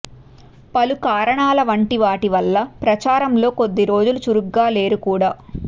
పలు కారణాల వంటి వాటి వల్ల ప్రచారంలో కొద్ది రోజులు చురుగ్గా లేరు కూడా